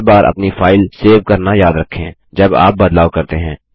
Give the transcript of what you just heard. हर बार अपनी file save करना याद रखें जब आप बदलाव करते हैं